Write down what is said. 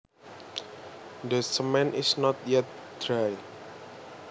The cement is not yet dry